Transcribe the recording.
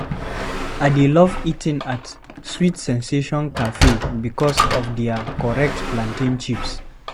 I dey love eating at Sweet Sensation cafe because of their correct plantain chips.